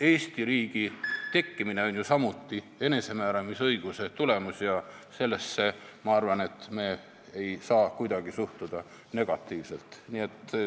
Eesti riigi tekkimine on ju samuti enesemääramisõiguse tulemus ja sellesse, ma arvan, ei saa me kuidagi negatiivselt suhtuda.